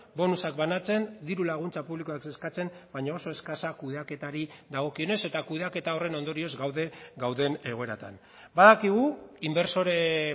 bonusak banatzen diru laguntza publikoak eskatzen baina oso eskasa kudeaketari dagokionez eta kudeaketa horren ondorioz gaude gauden egoeratan badakigu inbertsore